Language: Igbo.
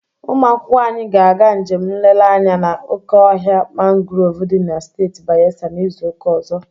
Ụmụ akwụkwọ anyị ga-aga njem nlere anya na oke ọhịa mangrov dị na steeti Bayelsa na izuụka ọzọ